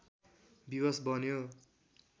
विवश बन्यो